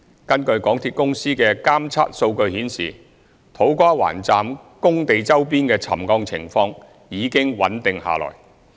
根據港鐵公司的監測數據顯示，土瓜灣站工地周邊的沉降情況已經穩定下來。